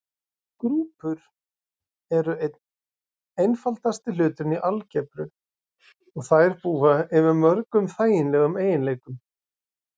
Grúpur eru einn einfaldasti hluturinn í algebru og þær búa yfir mörgum þægilegum eiginleikum.